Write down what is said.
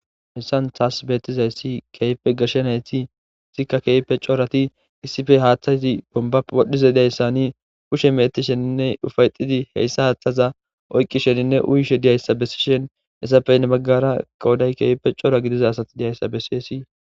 hessan taas beetizayssi keeype gashenayti isikka keeype corati issife haaththayzi bomba wodhdhiza idayssani ushe meeti sheninne ufayxidi heyssa haaththaza oyqqi sheninne uyishe diyayssa bessi shen hessapeynne baggara kawoday keewpe cora gidiza asati diyayssa bessiyesi